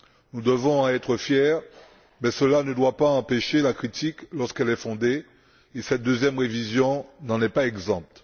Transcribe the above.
Nous devons en être fiers, mais cela ne doit pas empêcher la critique lorsqu'elle est fondée, et cette deuxième révision n'en est pas exempte.